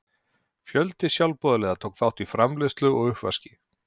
Fjöldi sjálfboðaliða tók þátt í framreiðslu og uppvaski.